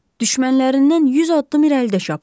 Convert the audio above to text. Düşmənlərindən 100 addım irəlidə çapır.